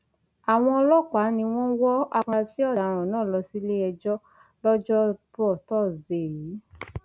àwọn ọlọpàá ni wọn wọ àfúrásì ọdaràn náà lọ síléẹjọ lọjọbọtò tọsídẹẹ yìí